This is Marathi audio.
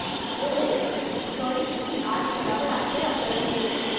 ओह, सॉरी की आज करावं लागतंय आपल्याला हे.